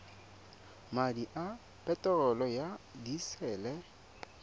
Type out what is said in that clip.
madi a peterolo ya disele